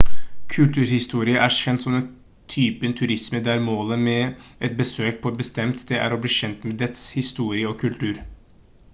kulturhistorie er kjent som den typen turisme der målet med et besøk på et bestemt sted er å bli kjent med dets historie og kultur